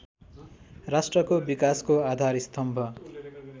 राष्ट्रको विकासको आधारस्तम्भ